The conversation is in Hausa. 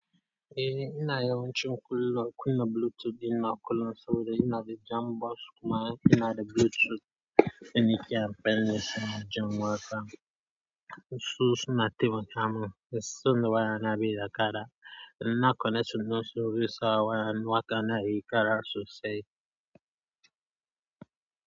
Eh ina yawancin kullum kunna Bluetooth ɗina kullun saboda ina da jam box kuma ina da Bluetooth. Da nake amfani da shi jin waƙa. Su suna taimaka min. Sanda waya na bai da ƙara. In na connection ɗin su zai sa waya. Waƙa na yayi ƙara sosai.